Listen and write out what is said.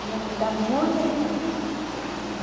E é da muita criança.